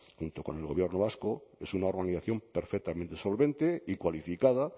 junto con el gobierno vasco es una organización perfectamente solvente y cualificada